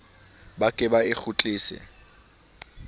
ba be ba e kgutlise